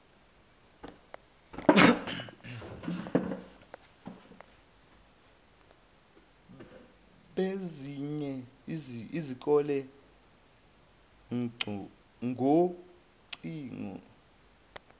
bezinye izikole ngocingo